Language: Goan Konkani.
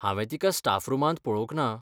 हांवें तिका स्टाफ रुमांत पळोवंक ना.